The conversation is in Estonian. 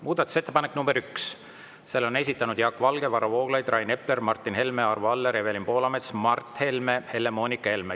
Muudatusettepanek nr 1, selle on esitanud Jaak Valge, Varro Vooglaid, Rain Epler, Martin Helme, Arvo Aller, Evelin Poolamets, Mart Helme ja Helle-Moonika Helme.